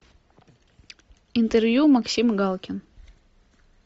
интервью максим галкин